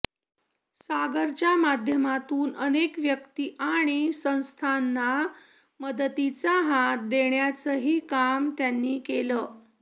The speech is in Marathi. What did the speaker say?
सागरच्या माध्यमातून अनेक व्यक्ती आणि संस्थांना मदतीचा हात देण्याचंही काम त्यांनी केलं